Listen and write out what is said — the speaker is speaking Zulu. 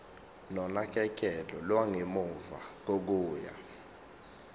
nonakekelo lwangemuva kokuya